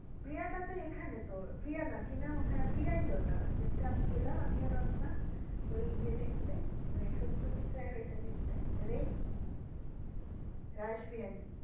প্রিয়াটাতো এখানেই তোর না কি নাম ওটার হা প্রিয়াইতো যেটা আমি গেলাম আমি আর রত্না ওই ই এ দেখতে সত্যজিৎ রায় এর ওটা দেখতে রে রাসবিহারী।